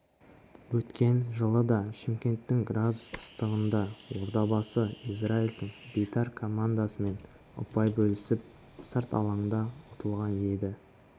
өткен жылы да шымкенттің градус ыстығында ордабасы израильдің бейтар командасымен ұпай бөлісіп сырт алаңда ұтылған еді